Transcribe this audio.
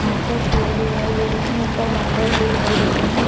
आस पास पेड़ दिखाई दे रहे हैं। उपर बादल दिखाई दे रहे हैं।